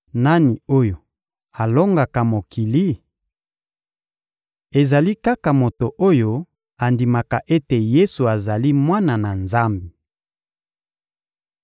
Nani oyo alongaka mokili? Ezali kaka moto oyo andimaka ete Yesu azali Mwana na Nzambe.